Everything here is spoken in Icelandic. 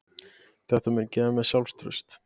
Þetta mun gefa mér sjálfstraust.